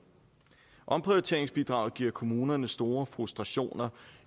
omprioriteringsbidraget giver kommunerne store frustrationer